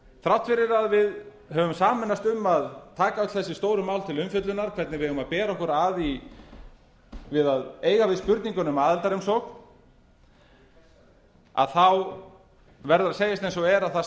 þrátt fyrir að við höfum sameinast um að taka öll þessi stóru mál til umfjöllunar hvernig við eigum að bera okkur að við að eiga við spurninguna um aðildarumsókn þá verður að segjast eins og er að það